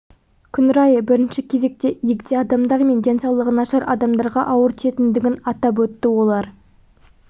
күн райы бірінші кезекте егде адамдар мен денсаулығы нашар адамдарға ауыр тиетіндігін атап өтті олар